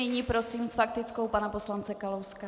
Nyní prosím s faktickou pana poslance Kalouska.